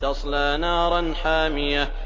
تَصْلَىٰ نَارًا حَامِيَةً